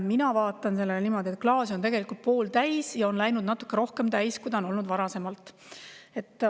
Mina vaatan sellele niimoodi, et klaas on pooltäis ja on läinud natuke rohkem täis, kui on olnud varasemalt.